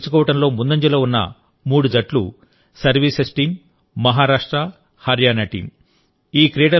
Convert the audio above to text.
స్వర్ణ పతకం గెలుచుకోవడంలో ముందంజలో ఉన్న మూడు జట్లు services team Maharashtra Haryana team